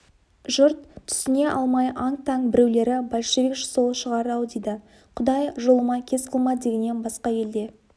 жұрт түсіне алмай аң-таң біреулері большевик сол шығар-ау дейді құдай жолыма кез қылма дегеннен басқа елде